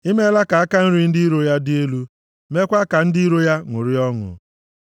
I meela ka aka nri ndị iro ya dị elu; mekwaa ka ndị iro ya ṅụrịa ọṅụ.